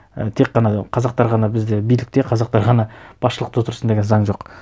і тек қана қазақтар ғана бізде билікте қазақтар ғана басшылықта отырсын деген заң жоқ